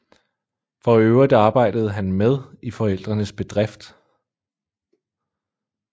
For øvrigt arbejdede han med i forældrenes bedrift